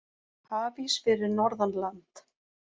Hafís fyrir norðan land